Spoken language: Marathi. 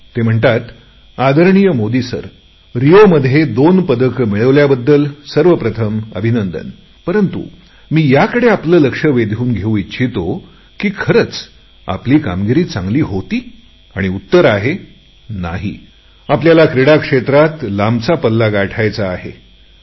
ते म्हणतात आदरणीय मोदी सर सर्वप्रथम रिओमध्ये दोन पदके मिळविल्याबद्दल अभिनंदन परंतु मी याकडे आपले लक्ष वेधून घेऊ इच्छितो की खरेच आपली कामगिरी चांगली होती का आणि उत्तर आहे नाही आपल्याला क्रीडा क्षेत्रात लांबचा पल्ला गाठायची आवश्यकता आहे